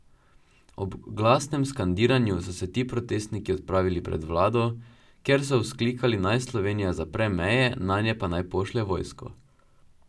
Ob glasnem skandiranju so se ti protestniki odpravili pred vlado, kjer so vzklikali, naj Slovenija zapre meje, nanje pa naj pošlje vojsko.